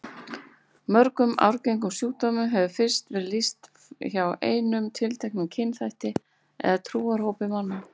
Mörgum arfgengum sjúkdómum hefur fyrst verið lýst hjá einum tilteknum kynþætti eða trúarhópi manna.